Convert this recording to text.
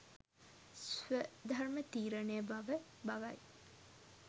ස්වධර්ම තීරණය බව බවයි.